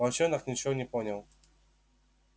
волчонок ничего не понял